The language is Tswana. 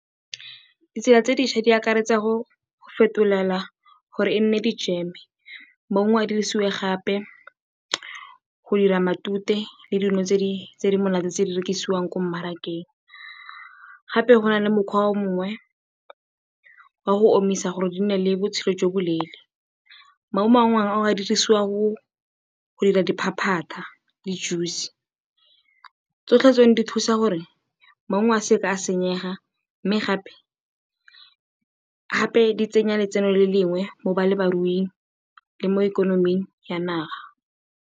Ditsela tse di ntšha di akaretsa go fetolela gore e nne dijeme. Maungo a dirisiwe gape go dira matute le dino tse di monate tse di rekisiwang ko mmarakeng. Gape go na le mokgwa o mongwe wa go omisa gore di nne le botshelo jo bo leele. Maungo a mangwe a dirisiwa go dira diphataphata le juice. Tsotlhe tseno di thusa gore maungo a se ke a senyega mme gape di tsenya letseno le lengwe mo balemiruing le mo ikonoming ya naga.